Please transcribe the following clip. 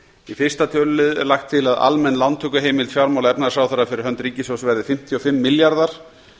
í fyrsta tölulið er lagt til að almenn lántökuheimild fjármála og efnahagsráðherra fyrir hönd ríkissjóðs verði fimmtíu og fimm milljarðar